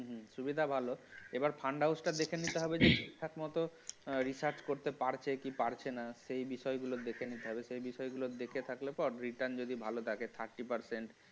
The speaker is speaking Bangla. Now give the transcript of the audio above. সুবিধা ভালো এবার fund house টা দেখে নিতে হবে যে ঠিকঠাক মত research করতে পারছি কি পারছে না সেই বিষয়গুলো গুলো দেখে নিতে হবে সেই বিষয়গুলো দেখে থাকলে তো আর return যদি ভালো থাকে thirty percent